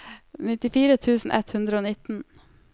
nittifire tusen ett hundre og nitten